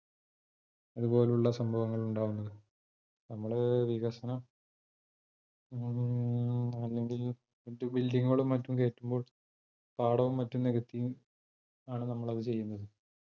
അതുപോലുള്ള സംഭവങ്ങൾ ഉണ്ടാകുന്നത്. നമ്മള് വികസനം മ്മ് അല്ലെങ്കിൽ മറ്റ് building കളും മറ്റും കെട്ടുമ്പോൾ പാടവും മറ്റും നികത്തിയും ആണ് നമ്മളത് ചെയ്യുന്നത്